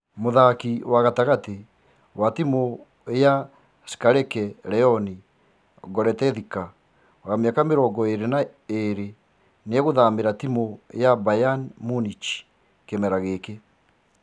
muythaki wa gatagati wa timu ya Schalke Leon Goretzka, wa miaka mĩrongo ĩrĩ na igĩrĩ, nieguthamira timu ya Bayern Munich kimera giki.